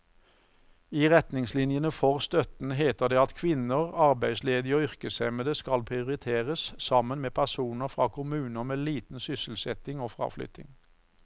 I retningslinjene for støtten heter det at kvinner, arbeidsledige og yrkeshemmede skal prioriteres sammen med personer fra kommuner med liten sysselsetting og fraflytting.